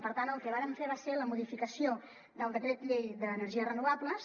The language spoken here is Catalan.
per tant el que vàrem fer va ser la modificació del decret llei d’energies renovables